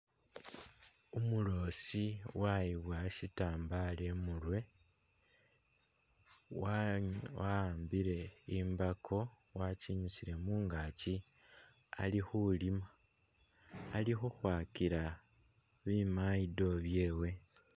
Umuloosi wayiboya shitambala imurwe, wa'ambile imbako wakinyuusile mungaaki ali khulima, ali khukhwakila bi mayito byewe.